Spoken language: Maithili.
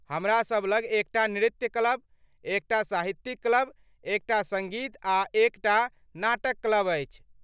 हमरासभ लग एकटा नृत्य क्लब, एकटा साहित्यिक क्लब, एकटा सङ्गीत आ एकटा नाटक क्लब अछि।